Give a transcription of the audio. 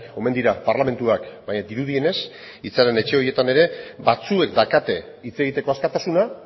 omen dira parlamentuak baina dirudienez hitzaren etxe horietan ere batzuek daukate hitz egiteko askatasuna